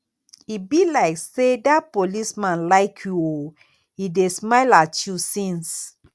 e be like say dat policeman like you oo he dey smile at you since